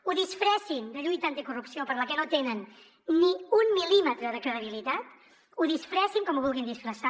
ho disfressin de lluita anticorrupció per a la que no tenen ni un mil·límetre de credibilitat ho disfressin com ho vulguin disfressar